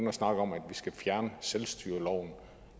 at snakke om at vi skal fjerne selvstyreloven